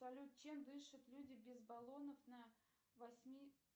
салют чем дышат люди без баллонов на восьми